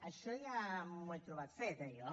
això ja m’ho he trobat fet eh jo